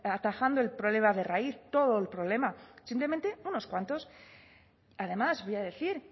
atajando el problema de raíz todo el problema simplemente unos cuantos además voy a decir